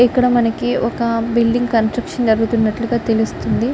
ఇక్కడ మనకి ఒక బిల్డింగ్ కన్స్ట్రక్షన్ జరుగుతున్నట్లుగా తెలుస్తుంది .